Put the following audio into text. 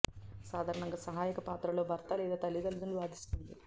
సాధారణంగా సహాయక పాత్రలో భర్త లేదా తల్లి తల్లులు వాదిస్తుంది